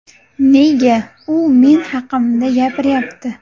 Nega u men haqimda gapiryapti?